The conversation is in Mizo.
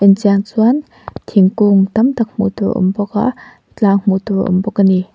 chian chuan thingkung tam tak hmuh tur a awm bawk a tlang hmuh tur awm bawk a ni.